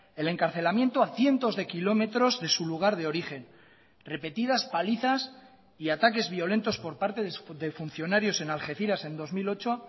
el encarcelamiento a cientos de kilómetros de su lugar de origen repetidas palizas y ataques violentos por parte de funcionarios en algeciras en dos mil ocho